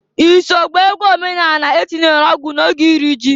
I so gbaa egwu omenanị atinyelu ọgwụ n'oge iri ji?